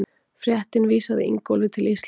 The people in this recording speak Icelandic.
Fréttin vísaði Ingólfi til Íslands.